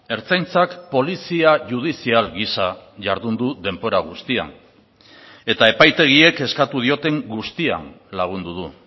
ertzaintzak polizia judizial giza jardun du denbora guztian eta epaitegiek eskatu dioten guztian lagundu du